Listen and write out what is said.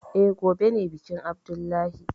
Eh, gobe ne bikin abdullahi